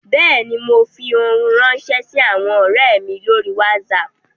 Bẹ́ẹ̀ ni, mo fi ohun ránṣẹ́ sí àwọn ọ̀rẹ́ mi lórí Wásaapù